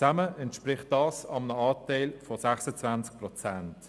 Zusammen entspricht das einem Anteil von 26 Prozent.